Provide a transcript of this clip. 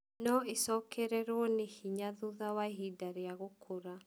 No ĩcokererũo nĩ hinya thutha wa ihinda rĩa gũkũra.